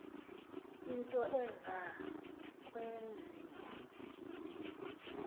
into eza kwenziwa